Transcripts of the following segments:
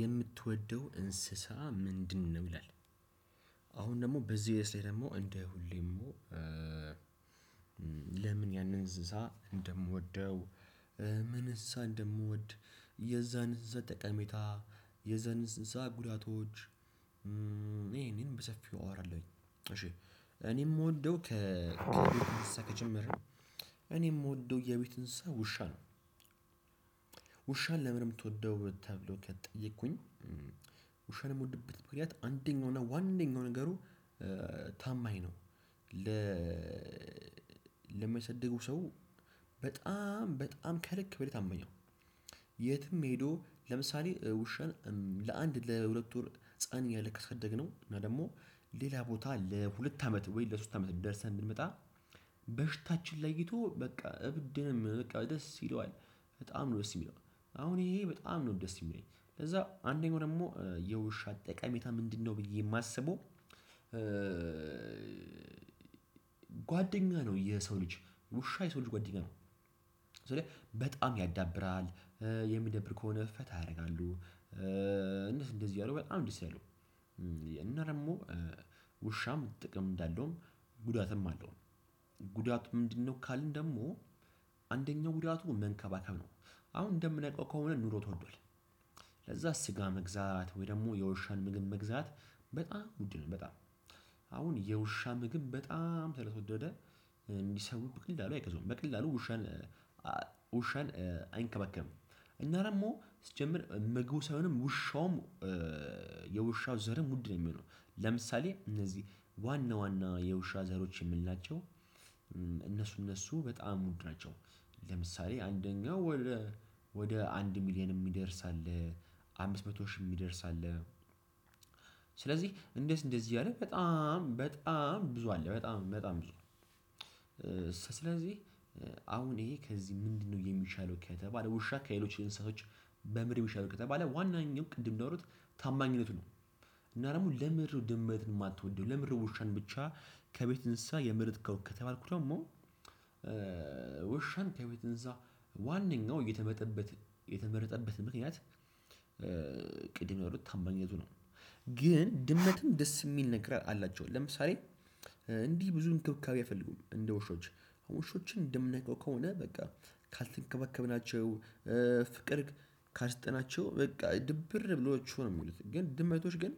የምትወደው እንስሳ ምንድነው? ይላል አሁን ደግሞ በዚህ ርዕስ ላይ ደግሞ እንደ ሁሌም? ለምን ያንን እንስሳ እንደምወደው ምን እንስሳ እንደምወድ የዛን እንስሳ ጠቀሜታ የዛን እንስሳ ጉዳቶች። ይሄን ይሄን በሰፊው አወራለሁኝ። እሺ እኔ የምወደው ከ ከቤት እንስሳ ከጀመርን እኔ የምወደው የቤት እንስሳ ውሻ ነው። ውሻን ለምን የምትወደው ተብሎ ከተጠየቅኩኝ። ውሻን ምወድበት ምክንያት አንደኛው እና ዋነኛው ነገሩ ታማኝ ነው። ለሚያሳድገው ሰው በጣም በጣም ከልክ በላይ ታማኝ ነው። የትም ሄዶ ለምሳሌ ውሻን ለአንድ ለሁለት ወር ህፃን እያለ ካሰደግነው እና ደግሞ ሌላ ቦታ ለሁለት አመት ወይ ለሶስት አመት ደርሰን ብንመጣ በሽታችን ለይቶ በቃ እብድ። ደስ ይለዋል በጣም ነው ደስ የሚለው። አሁን ይሄ በጣም ነው ደስ የሚለኝ ለዛ አንደኛው ደግሞ የውሻ ጠቃሜታ ምንድነው ብዬ የማስበው። ጓደኛ ነው የሰው ልጅ ውሻ የሰው ልጅ ጓደኛ ነው። ስልህ በጣም ያዳብራል። የሚደብር ከሆነ ፈታ ያረጋሉ። እንደዚህ እንደዚህ ያሉ በጣም ደስ ይላሉ። እና ደሞ ውሻም ጥቅም እንዳለውም ጉዳትም አለው ጉዳት ምንድነው? ካልን ደግሞ አንደኛው ጉዳቱ መንከባከብ ነው። አሁን እንደምናውቀው ከሆነ ኑሮ ተወዷል። ለዛ ስጋ መግዛት ወይ ደግሞ የውሻን ምግብ መግዛት በጣም ውድ ነው። በጣም አሁን የውሻ ምግብ በጣም ስለተወደደ እንዲ ሰው በቀላሉ አይገዙም በቀላሉ። ውሸን አይንከበከብም። እና ደግሞ ስጀመር ምግቡ ሳይሆንም ውሻውም የውሻው ዘርም ውድ ነው የሚሆነው። ለምሳሌ እነዚህ ዋና ዋና የውሻ ዘሮች የምንላቸው እነሱ እነሱ በጣም ውድ ናቸው። ለምሳሌ አንደኛው ወደ አንድ ሚሊዮን የሚደርስ አለ፣ አምስት መቶ ሺህ እሚደርስ አለ። ስለዚህ እንደዚህ እንደዚህ እያለ በጣም በጣም ብዙ አለ በጣም በጣም ብዙ። ስለዚህ አሁን ይሄ ከዚህ ምንድነው? የሚሻለው ከተባለ ውሻ ከሌሎች እንስሶች በምን ነው ሚሻለው ከተባለ ዋናኛው ቅድም እንዳሉት ታማኝነቱ ነው፤ እና ደግሞ ለምንድነው ድመት የማትወደው ለምንድነው? ውሻን ብቻ ከቤት እንስሳ የመረጥከው ከተባልኩ ደግሞ ውሻን ከቤት እንሰሳ ዋነኛው የተመጠበት የተመረጠበት ምክንያት። ቅድም ያሉት ታማኝነቱ ነው። ግን ድመትም ደስ የሚል ነገር አላቸው ለምሳሌ። እንዲህ ብዙ እንክብካቤ አይፈልጉም እንደ ውሾች ውሾችን እንደምናቀው ከሆነ በቃ ካልተንከባከብናቸው። ፍቅር ካልስጠናቸው በቃ ድብር ብሎአቸው ነው ሚውሉት። ግን ድመቶች ግን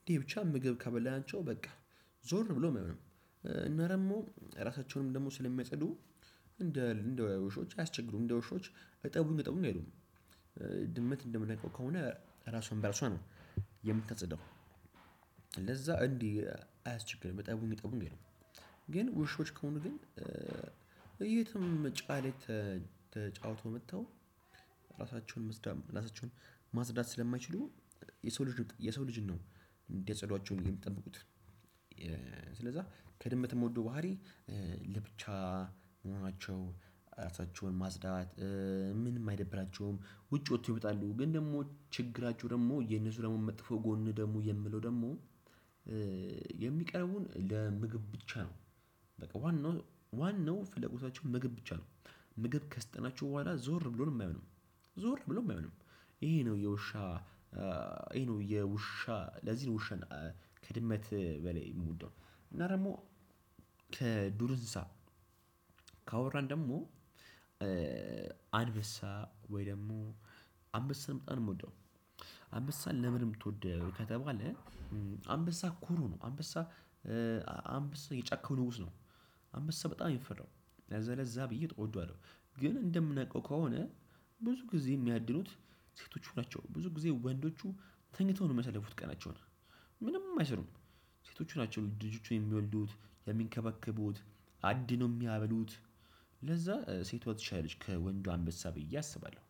አንዴ ብቻ ምግብ ካበላናቸው በቃ ዞር ብለውም አያዩንም። እና ደግሞ ራሳቸውንም ደግሞ ስለሚጸዱ። እንደ ውሾች አያስቸግሩም እንደ ውሾች እጠቡኝ እጠቡኝ አይሉም። ድመት እንደምናውቀው ከሆነ ራሷን በራሷ ነው የምታጸዳው። ለዛ እንዲህ አያስቸግርም እጠቡኝ እጠቡኝ አይሉም። ግን ውሾች ከሆኑ ግን የትም ጭቃ ላይ ተጫውተው መጥተው ራሳቸውን ማጽዳት ራሳቸውን ማጽዳት ስለማይችሉ። የሰው ልጅ የሰው ልጅን ነው እንዲያጸዷቸው የሚጠብቁት። ስለዛ ከድመት ምወደው ባህሪ ለብቻ መሆናቸው ራሳቸውን ማጽዳት። ምንም አይደብራቸውም ውጭ ወጥተው ይወጣሉ ግን ደግሞ ችግራቸው ደግሞ የነሱ ደግሞ መጥፎ ጎን ደግሞ የምለው ደግሞ። የሚቀርቡን ለምግብ ብቻ ነው። በቃ ዋናው ዋናው ፍለጎታቸው ምግብ ብቻ ነው። ምግብ ከሰጠናቸው በኋላ ዞር ብሎን አያዩንም። ዞር ብሎ አያዩንም። ይሄ ነው የውሻ ይሄ ነው የውሻ ለዚህን ውሻን ከድመት በላይ የምወደው። እና ደግሞ ከዱር እንስሳ ካወራን ደግሞ አንበሳ ወይ ደግሞ አንበሳን መጣን እምወደው አንበሳን ለምንም ምትወደው ከተባለ። አንበሳ ኩሩ ነው አንበሳ አንበሳ የጫከው ንጉስ ነው። አንበሳ በጣም የሚፈራው ለዛ ለዛ ብዬ እወደዋለሁ። ግን እንደምናቀው ከሆነ። ብዙ ጊዜ የሚያድኑት ሴቶቹ ናቸው ብዙ ጊዜ ወንዶቹ ተኝተው ነው የሚያሳልፉት ቀናቸውን። ምንም አይሰሩም። ሴቶቹ ናቸው ልጆቹን የሚወልዱት፣ የሚንከባከቡት፣ አድኖ ነው የሚያበሉት፤ ለዛ ሴቷ ትሻላለች ከወንዱ አንበሳ ብዬ አስባለሁ።